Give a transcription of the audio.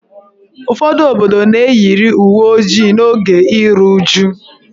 Ụfọdụ obodo na-eyiri uwe ojii n'oge iru uju.